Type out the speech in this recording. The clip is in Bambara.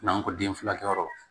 N'an ko den furakɛyɔrɔ